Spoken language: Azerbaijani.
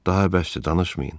Daha bəsdir, danışmayın.